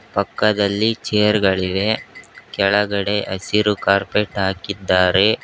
ಪಕ್ಕದಲ್ಲಿ ಚೇರ್ ಗಳಿವೆ ಕೆಳಗಡೆ ಹಸಿರು ಕಾರ್ಪೆಟ್ ಹಾಕಿದ್ದಾರೆ.